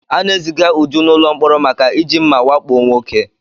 A na-eziga uju n'ụlọ mkpọrọ maka iji mma wakpo nwoke